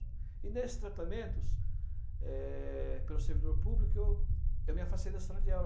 E nesses tratamentos, é, pelo servidor público, eu me afastei da sala de aula.